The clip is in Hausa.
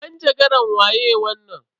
Manjagaran waye wannan?